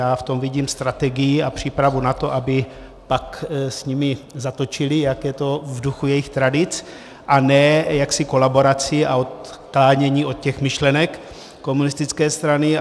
Já v tom vidím strategii a přípravu na to, aby pak s nimi zatočili, jak je to v duchu jejich tradic, a ne jaksi kolaboraci a odklánění od těch myšlenek komunistické strany.